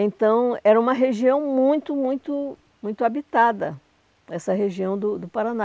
Então, era uma região muito muito muito habitada, essa região do do Paraná.